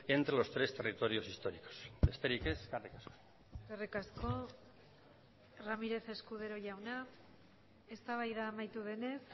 entre los tres territorios históricos besterik ez eskerrik asko eskerrik asko ramirez escudero jauna eztabaida amaitu denez